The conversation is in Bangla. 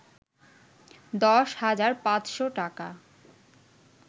১০ হাজার ৫শ’ টাকা